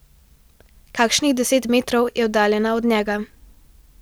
Kakšnih deset metrov je oddaljena od njega.